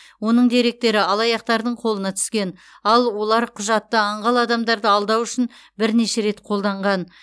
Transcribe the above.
оның деректері алаяқтардың қолына түскен ал олар құжатты аңғал адамдарды алдау үшін бірнеше рет қолданған